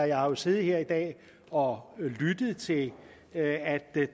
jo siddet her i dag og lyttet til at at der i